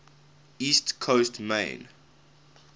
east coast maine